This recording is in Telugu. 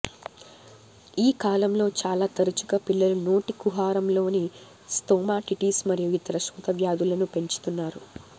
ఈ కాలంలో చాలా తరచుగా పిల్లలు నోటి కుహరంలోని స్తోమాటిటిస్ మరియు ఇతర శోథ వ్యాధులను పెంచుతారు